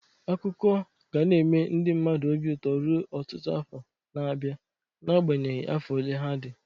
Akụkọ ga na-eme ndị mmadụ obi ụtọ ruo ọtụtụ afọ na-abịa n'agbanyeghi afọ ole ha dị.